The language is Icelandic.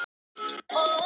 Berjist gegn óréttlætinu